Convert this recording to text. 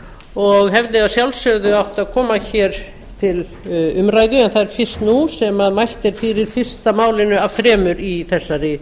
og hefði að sjálfsögðu átt að koma hér til umræðu en það er fyrst nú sem mælt er fyrir fyrsta málinu af þremur í þessari